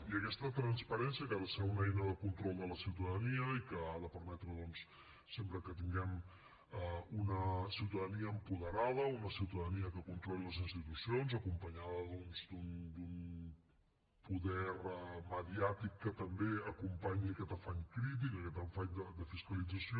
i aquesta transparència que ha de ser una eina de control de la ciutadania i que ha de permetre doncs sempre que tinguem una ciutadania apoderada una ciutadania que controli les institucions acompanyada d’un poder mediàtic que també acompanyi aquest afany crític aquest afany de fiscalització